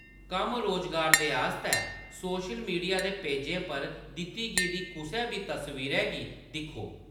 कम्म-रोजगार दे आस्तै social media दे पेजें पर दित्ती गेदी कुसै बी तस्वीरै गी दिक्खो।